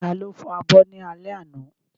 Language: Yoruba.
Ta ló fọ abọ́ ní alẹ́ àná?